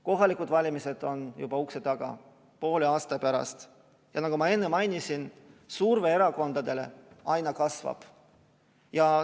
Kohalikud valimised on juba ukse taga, poole aasta pärast, ja nagu ma enne mainisin, surve erakondadele aina kasvab.